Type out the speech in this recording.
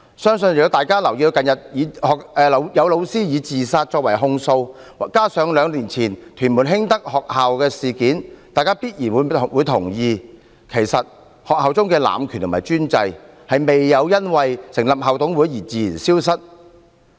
相信如果大家留意近日有教師以自殺所作的控訴，加上兩年前屯門興德學校事件，大家必然會同意，其實學校中的濫權和專制未有因為成立校董會而自然消失。